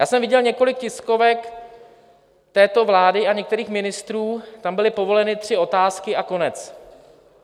Já jsem viděl několik tiskovek této vlády a některých ministrů, tam byly povoleny tři otázky a konec.